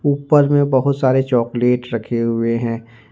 ऊपर में बहुत सारे चॉकलेट रखे हुए हैं।